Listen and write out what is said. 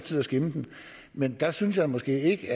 til at skimme den men der synes jeg måske ikke